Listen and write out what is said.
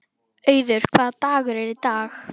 Auður, hvaða dagur er í dag?